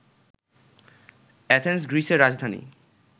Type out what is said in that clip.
Athens গ্রীসের রাজধানী